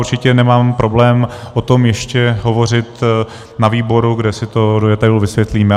Určitě nemám problém o tom ještě hovořit na výboru, kde si to do detailu vysvětlíme.